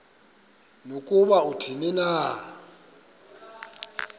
nokuba athini na